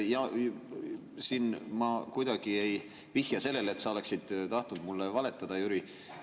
Ja siin ma kuidagi ei vihja sellele, et sa oleksid tahtnud mulle valetada, Jüri.